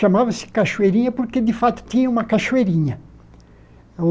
Chamava-se cachoeirinha porque, de fato, tinha uma cachoeirinha.